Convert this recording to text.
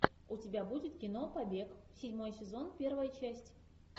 у тебя будет кино побег седьмой сезон первая часть